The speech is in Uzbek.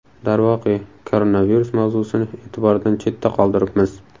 Darvoqe, koronavirus mavzusini e’tibordan chetda qoldiribmiz.